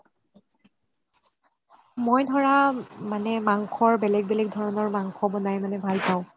মই ধৰা মাংসৰ বেলেগ বেলেগ ধৰণৰ মাংস বনাই কিনে ভাল পাও